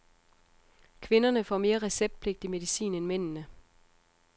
Kvinderne får mere receptpligtig medicin end mændene.